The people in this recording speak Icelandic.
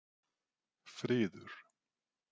Friður